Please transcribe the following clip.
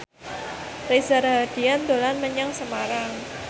Reza Rahardian dolan menyang Semarang